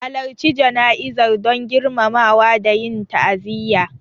Halarci jana'izar don girmamawa da yin ta'aziyya.